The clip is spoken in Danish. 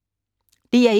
DR1